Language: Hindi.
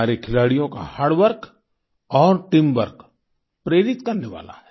हमारे खिलाड़ियों का हार्ड वर्क और टीमवर्क प्रेरित करने वाला है